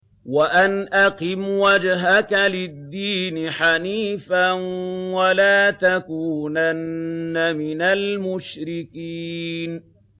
وَأَنْ أَقِمْ وَجْهَكَ لِلدِّينِ حَنِيفًا وَلَا تَكُونَنَّ مِنَ الْمُشْرِكِينَ